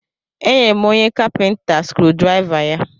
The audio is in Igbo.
E nyere m onye kapinta skrudraịva ya.